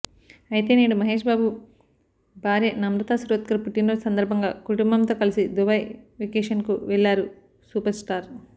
అయితే నేడు మహేష్ బాబు భార్య నమత్రా శిరోద్కర్ పుట్టినరోజు సందర్భంగా కుటుంబంతో కలిసి దుబాయ్ వెకేషన్కు వెళ్లారు సూపర్స్టార్